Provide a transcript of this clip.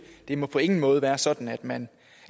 det må på ingen måde være sådan at man